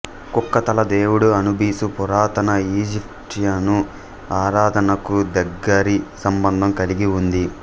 కుక్కతల దేవుడు అనుబిసు పురాతన ఈజిప్షియను ఆరాధనకు దగ్గరి సంబంధం కలిగి ఉంది